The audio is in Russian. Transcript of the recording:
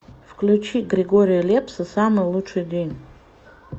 включи григория лепса самый лучший день